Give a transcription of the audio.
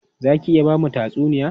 Za ki iya ba mu tatsuniya?